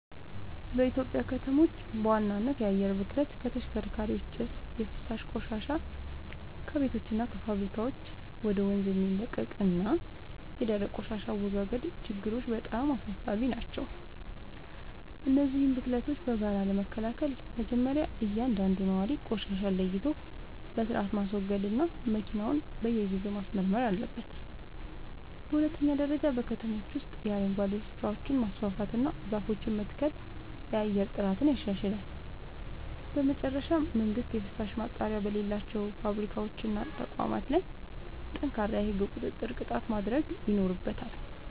በኢትዮጵያ ከተሞች በዋናነት የአየር ብክለት (ከተሽከርካሪዎች ጭስ)፣ የፍሳሽ ቆሻሻ (ከቤቶችና ከፋብሪካዎች ወደ ወንዝ የሚለቀቅ) እና የደረቅ ቆሻሻ አወጋገድ ችግሮች በጣም አሳሳቢ ናቸው። እነዚህን ብክለቶች በጋራ ለመከላከል መጀመርያ እያንዳንዱ ነዋሪ ቆሻሻን ለይቶ በሥርዓት ማስወገድና መኪናውን በየጊዜው ማስመርመር አለበት። በሁለተኛ ደረጃ በከተሞች ውስጥ የአረንጓዴ ስፍራዎችን ማስፋፋትና ዛፎችን መትከል የአየር ጥራትን ያሻሽላል። በመጨረሻም መንግሥት የፍሳሽ ማጣሪያ በሌላቸው ፋብሪካዎችና ተቋማት ላይ ጠንካራ የሕግ ቁጥጥርና ቅጣት ማድረግ ይኖርበታል።